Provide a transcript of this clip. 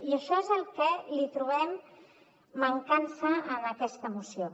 i a això és al que li trobem mancança en aquesta moció